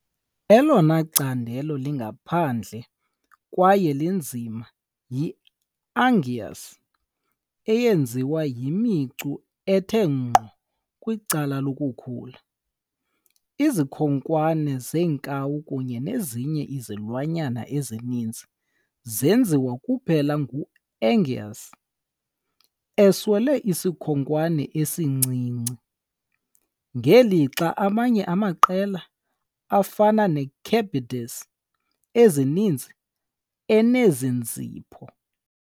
Elona candelo lingaphandle kwaye linzima yi "unguis", eyenziwe yimicu ethe ngqo kwicala lokukhula. Izikhonkwane zenkawu kunye nezinye izilwanyana ezininzi zenziwe kuphela ngu-unguis, eswele isikhonkwane esincinci, ngelixa amanye amaqela, afana ne -cebids ezininzi, enezinzipho.